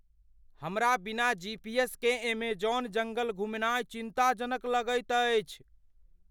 हमरा बिना G. P. S. केँ एमेजॉन जंगल घुमनाइ चिन्ताजनक लगैत अछि।